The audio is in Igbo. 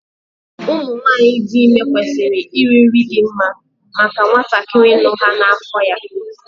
Ụmụ nwanyị dị ime kwesịrị iri nri dị mma maka nwatakịrị nọ ha n'afọ ya